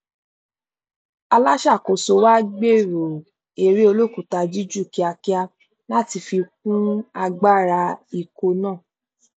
olùṣàkóso wa gbèrò eré olókùúta juíjù kíákíá láti fi kún agbára ikọ náà